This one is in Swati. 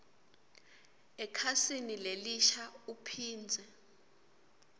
ekhasini lelisha uphindze